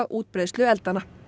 útbreiðslu eldanna